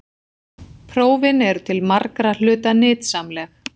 Prófin eru til margra hluta nytsamleg.